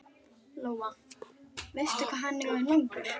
Lóa: Veistu hvað hann er orðinn langur?